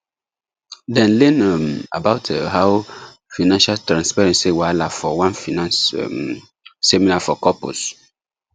dem learn um about um how financial transparency whahala for one finance um seminar for couples